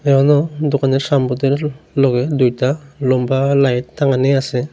দোকানের সাম্প্রতির লগে দুইটা লম্বা লাইট টাঙ্গানি আছে।